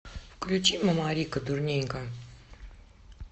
включи мамарика дурненька